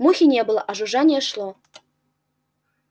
мухи не было а жужжание шло